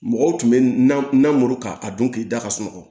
Mɔgɔw tun bɛ na muru k'a dun k'i da ka sunɔgɔ